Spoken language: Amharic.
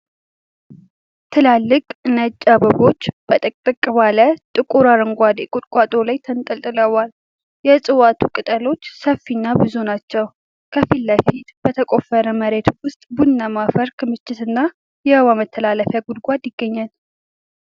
ትላልቅ ነጭ አበባዎች በጥቅጥቅ ባለ ጥቁር አረንጓዴ ቁጥቋጦ ላይ ተንጠልጥለዋል። የእጽዋቱ ቅጠሎች ሰፋፊና ብዙ ናቸው። ከፊት ለፊት በተቆፈረ መሬት ውስጥ ቡናማ አፈር ክምችትና የውሃ መተላለፊያ ጉድጓድ ይገኛል።